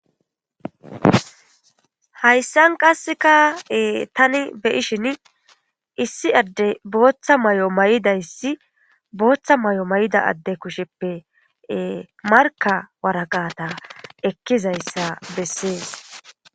Hayssan taani beishshin booththa mayo mayidassa hara assa kushsheppe markka waraqqatta ekkishshe diizayssi beettes.